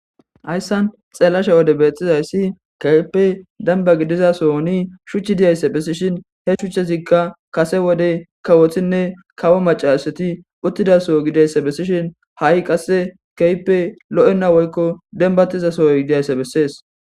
hayssan xeelasha wode beetthizayssi kaype danba gidiza so oni shuchchi diyayssa bessishin he shuchchezikka kase wodey kawothinne kawo macaseti uttidaso gidayssa bessishin ha7i qasse kaype lo7enna woykko dembatiza sohoy diyaysse bessees